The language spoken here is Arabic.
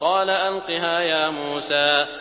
قَالَ أَلْقِهَا يَا مُوسَىٰ